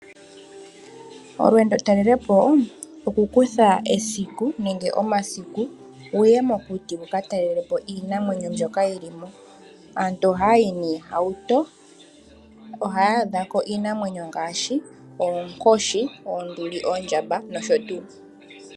Olweendo talelepo oku kutha esiku nenge omasiku wuye mokuti wuka talelepo iinamwenyo mbyoka yilimo. Aantu ohaya yi noohauto ohaya adhako iinamwenyo ngaashi oonkoshi, oonduli, oondjamba nosho tuu.